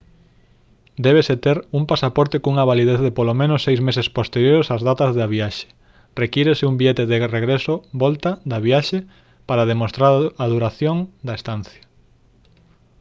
débese ter un pasaporte cunha validez de polo menos seis meses posteriores ás datas da viaxe. requírese un billete de regreso/volta da viaxe para demostrar a duración da estancia